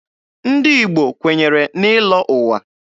Ndị Igbo kwenyere n'ịlọ ụwa.